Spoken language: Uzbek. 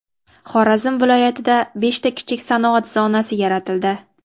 Xorazm viloyatida beshta kichik sanoat zonasi yaratildi.